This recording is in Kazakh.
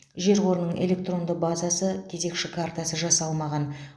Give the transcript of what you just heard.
жер қорының электронды базасы кезекші картасы жасалмаған